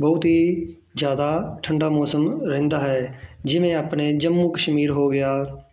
ਬਹੁਤ ਹੀ ਜ਼ਿਆਦਾ ਠੰਢਾ ਮੌਸਮ ਰਹਿੰਦਾ ਹੈ ਜਿਵੇਂ ਆਪਣੇ ਜੰਮੂ ਕਸ਼ਮੀਰ ਹੋ ਗਿਆ